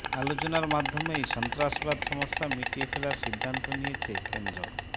আলোচনার মাধ্যমেই সন্ত্রাসবাদ সমস্যা মিটিয়ে ফেলার সিদ্ধান্ত নিয়েছে কেন্দ্র